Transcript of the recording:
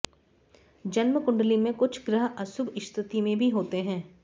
जन्म कुंडली में कुछ ग्रह अशुभ स्थिति में भी होते हैं